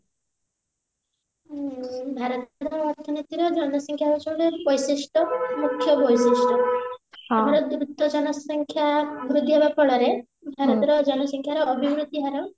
ଉଁ ଭାରତର ଅର୍ଥନୈତିକ ଜନସଂଖ୍ୟା ହଉଛନ୍ତି eco system ମୂଖ୍ୟ ବୈଶିଷ୍ଟ ଆମର ମୃତ ଜନସଂଖ୍ୟା ଭାରତର ଜନସଂଖ୍ୟାରେ ଅଭିବୃତି ହାର